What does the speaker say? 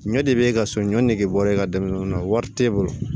Ɲɔ de be e ka so ɲɔn nege bɔ e ka denmisɛnninw na wari t'e bolo